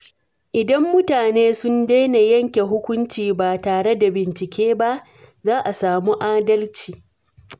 Idan mutane sun daina yanke hukunci ba tare da bincike ba, za a samu adalci.